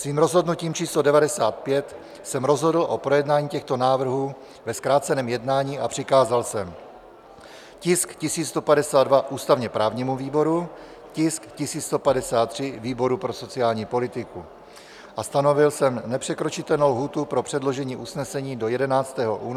Svým rozhodnutím č. 95 jsem rozhodl o projednání těchto návrhů ve zkráceném jednání a přikázal jsem tisk 1152 ústavně-právnímu výboru, tisk 1153 výboru pro sociální politiku a stanovil jsem nepřekročitelnou lhůtu pro předložení usnesení do 11. února 2021 do 8 hodin.